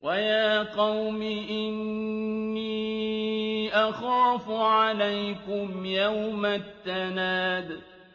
وَيَا قَوْمِ إِنِّي أَخَافُ عَلَيْكُمْ يَوْمَ التَّنَادِ